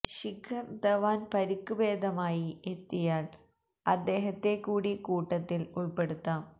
ശിഖർ ധവാൻ പരിക്ക് ഭേദമായി എത്തിയാൽ അദ്ദേഹത്തെ കൂടി കൂട്ടത്തിൽ ഉൾപ്പെടുത്താം